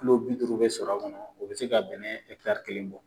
bi duuru bɛ sɔrɔ a kɔnɔ, o bi se ka bɛnɛ kelen bɔ